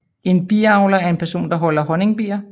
En biavler er en person der holder honningbier